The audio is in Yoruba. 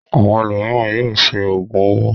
Àwọn ẹlòmíràn yóò ṣe òògùn owó.